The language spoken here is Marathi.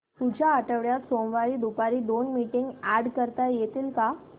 पुढच्या आठवड्यात सोमवारी दुपारी दोन मीटिंग्स अॅड करता येतील का